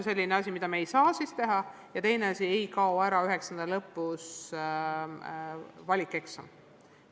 Teine asi on see, et 9. klassi lõpus valikeksam ei kao.